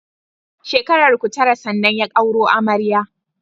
Shekararku Tara sannan ya auro amaryar sa